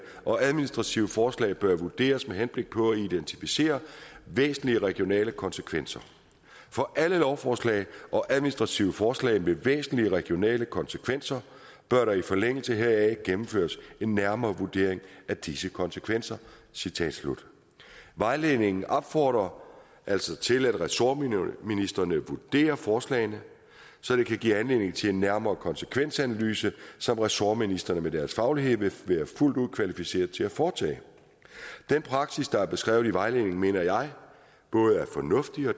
og administrative forslag bør vurderes med henblik på at identificere væsentlige regionale konsekvenser for alle lovforslag og administrative forslag med væsentlige regionale konsekvenser bør der i forlængelse heraf gennemføres en nærmere vurdering af disse konsekvenser vejledningen opfordrer altså til at ressortministrene vurderer forslagene så det kan give anledning til en nærmere konsekvensanalyse som ressortministrene med deres faglighed vil være fuldt ud kvalificeret til at foretage den praksis der er beskrevet i vejledningen mener jeg både er fornuftig og